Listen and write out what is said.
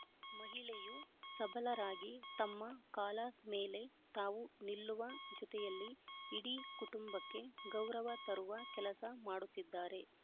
ಮಹಿಳೆಯು ಸಭಲರಾಗಿ ತಮ್ಮ ಕಾಲ ಮೇಲೆ ತಾವು ನಿಲ್ಲುವ ಜೊತೆಯಲ್ಲಿ ಇಡಿ ಕುಟುಂಬಕ್ಕೆ ಗೌರವ ತರುವ ಕೆಲಸ ಮಾಡುತಿದ್ದಾರೆ